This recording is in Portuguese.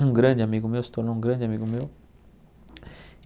Um grande amigo meu, se tornou um grande amigo meu.